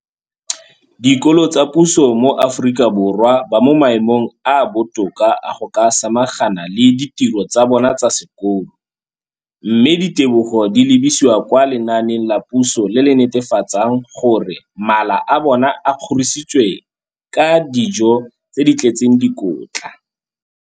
Dikolo tsa puso mo Aforika Borwa ba mo maemong a a botoka a go ka samagana le ditiro tsa bona tsa sekolo, mme ditebogo di lebisiwa kwa lenaaneng la puso le le netefatsang gore mala a bona a kgorisitswe ka dijo tse di tletseng dikotla.